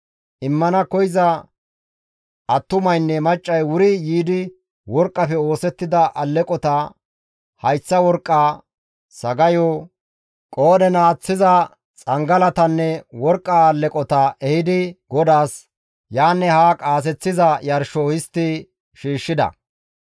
Immana koyza attumaynne maccay wuri yiidi worqqafe oosettida alleqota, hayththa worqqa, sagayo, qoodhen aaththiza xangalatanne worqqa alleqota ehidi GODAAS yaanne haa qaaseththiza yarsho histti shiishshida.